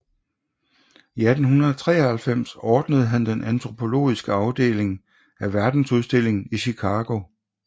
I 1893 ordnede han den antropologiske afdeling af Verdensudstillingen i Chicago